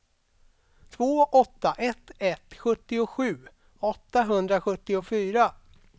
två åtta ett ett sjuttiosju åttahundrasjuttiofyra